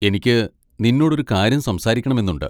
എനിക്ക് നിന്നോട് ഒരു കാര്യം സംസാരിക്കണമെന്നുണ്ട്.